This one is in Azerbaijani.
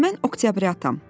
İndi mən oktyabratam.